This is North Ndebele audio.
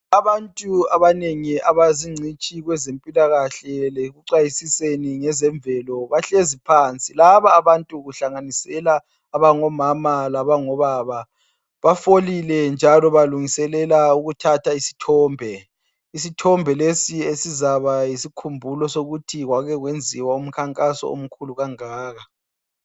Abantu abanengi abazingcitshi kwezempilakahle lekuxwayiziseni ngezemvelo bahlezi phansi .Laba abantu kuhlaganisela abangomama labangobaba, bafolile njalo balungiselela isithombe. Isithombe lesi sizaba yisikhumbulo sokuthi kwake kwenziwa umkhankaso omkhulu kangaka.